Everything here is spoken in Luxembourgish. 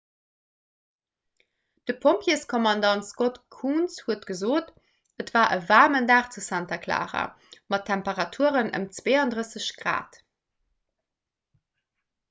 de pompjeeskommandant scott kouns huet gesot: et war e waarmen dag zu santa clara mat temperaturen ëm 32 °c